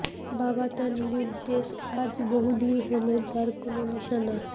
বাবা তার নিরুদ্দেশ আজ বহুদিন হলো যার কোন নিশানা